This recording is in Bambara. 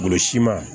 Bolo siman